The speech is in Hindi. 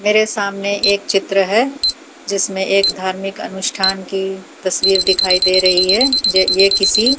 मेरे सामने एक चित्र है जिसमें एक धार्मिक अनुष्ठान की तस्वीर दिखाई दे रही है जे ये किसी--